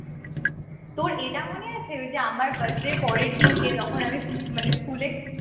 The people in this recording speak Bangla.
তোর এটা মনে আছে ঐযে আমার birthday র পরের দিনকে তখন আমি উম মানে স্কুলে